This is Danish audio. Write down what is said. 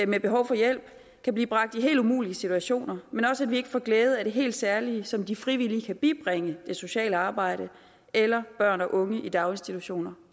med behov for hjælp kan blive bragt i helt umulige situationer men også at vi ikke får glæde af det helt særlige som de frivillige kan bibringe det sociale arbejde eller børn og unge i daginstitutioner